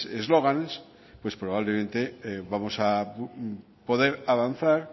eslóganes pues probablemente vamos a poder avanzar